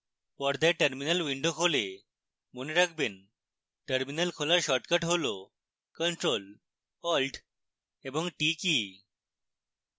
পর্দায় terminal window খোলে মনে রাখবেন: terminal খোলার শর্টকাট হল ctrl + alt + t কী